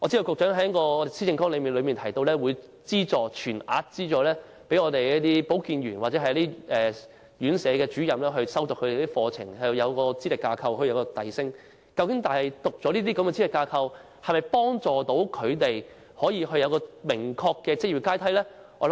局長在施政綱領提到會全額資助保健員或院舍主任修讀課程，讓他們根據資歷架構取得晉升資格，但修讀這些資歷架構認可的課程能否為他們提供明確的職業階梯呢？